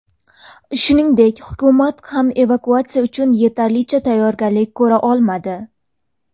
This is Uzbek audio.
Shuningdek, hukumat ham evakuatsiya uchun yetarlicha tayyorgarlik ko‘ra olmadi.